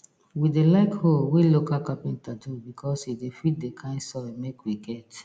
we dey like hoe wey local capenter do becos e de fit d kind soil make we get